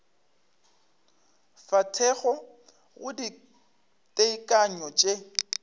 fa thekgo go ditekanyo tše